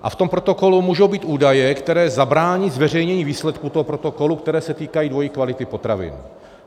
A v tom protokolu můžou být údaje, které zabrání zveřejnění výsledků toho protokolu, které se týkají dvojí kvality potravin.